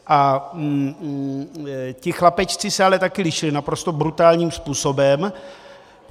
A ti chlapečci se ale taky lišili naprosto brutálním způsobem.